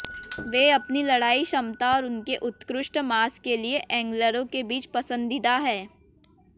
वे अपनी लड़ाई क्षमता और उनके उत्कृष्ट मांस के लिए एंग्लरों के बीच पसंदीदा हैं